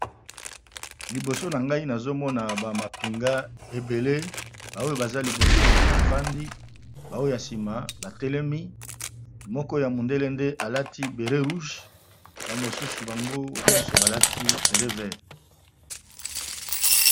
Liboso na ngai nazo mona ba mapinga ebele ba oyo baza liboso ba fandi ba oyo ya sima ba telemi, moko ya mondele nde alati béret rouge ba mosusu bango nyonso balati béret vert .